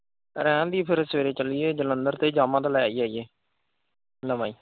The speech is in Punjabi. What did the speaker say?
ਰਹਿਣ ਦੇਈਏ ਫਿਰ ਸਵੇਰੇ ਚੱਲੀਏ, ਜਲੰਧਰ ਤੇ yamaha ਲੈ ਹੀ ਆਈਏ ਨਵਾਂ ਈ।